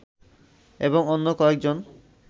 এবং অন্য কয়েকজন